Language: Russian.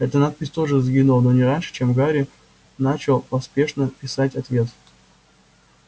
эта надпись тоже сгинула но не раньше чем гарри начал поспешно писать ответ